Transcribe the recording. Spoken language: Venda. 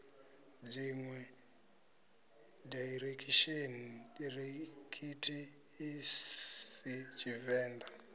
dziṋwe daiḽekithi a si tshivenḓa